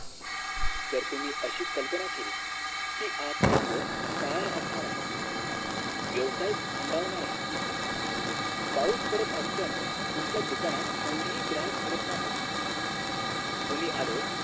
जर तुम्ही अशी कल्पना केली कि आजचा दिवस काळा असणार आहे व्यवसाय थंडावणार आहे पाऊस पडत असल्यान तुमच्या दुकानात कोणतही ग्राहक फिरकणार नाहीत तुम्ही आळस